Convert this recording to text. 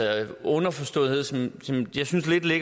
er en underforståethed som